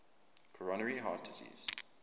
coronary heart disease